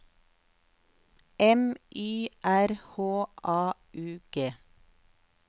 M Y R H A U G